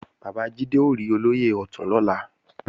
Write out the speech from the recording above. Bàbá Jídé ó rí Olóyè Ọ̀tún lọ́la